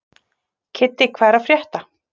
Kiddi, hvað er að frétta?